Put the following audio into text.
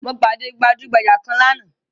Mo pàdé gbajugbaja kan lánàá